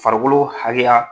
Farikolo hakɛya